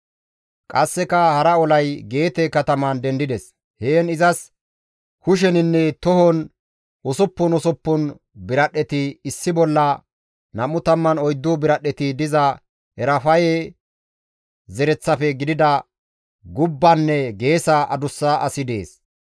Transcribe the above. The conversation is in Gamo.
Qasseka hara olay Geete kataman dendides; heen izas kusheninne tohon usuppun usuppun biradhdheti issi bolla 24 biradhdheti diza Erafaye zereththafe gidida gubbanne geesa adussa asi dees.